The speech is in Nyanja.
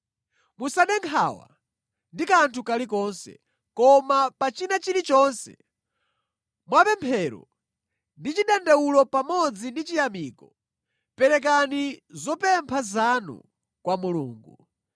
Musade nkhawa ndi kanthu kalikonse, koma pa china chilichonse, mwa pemphero ndi chidandaulo pamodzi ndi chiyamiko, perekani zopempha zanu kwa Mulungu.